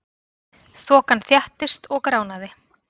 Þokan þéttist og gránaði.